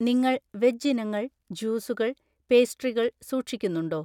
നിങ്ങൾ വെജ് ഇനങ്ങൾ, ജ്യൂസുകൾ, പേസ്ട്രികൾ സൂക്ഷിക്കുന്നുണ്ടോ?